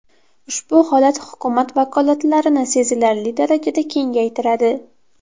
Ushbu holat hukumat vakolatlarini sezilarli darajada kengaytiradi.